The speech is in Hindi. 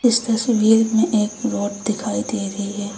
इस तस्वीर में एक रोड दिखाई दे रही है।